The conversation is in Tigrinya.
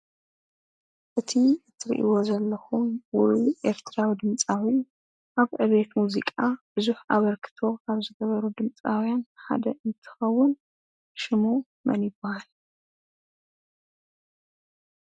እቲ ትርኢይዎ ዘለኩም ውሩይ ኤርትራዊ ድምፃዊ ኣብ ዕብየት ሙዚቃ ብዙሕ ኣበርክቶ ካብ ዝነበሮም ድምፃዉያን ሓደ እንትኸውን ሽሙ መን ይባሃል?